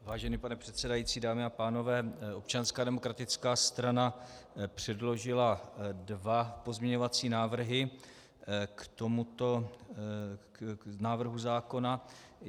Vážený pane předsedající, dámy a pánové, Občanská demokratická strana předložila dva pozměňovací návrhy k tomuto návrhu zákona.